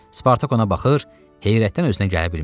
Spartak ona baxır, heyrətdən özünə gələ bilmirdi.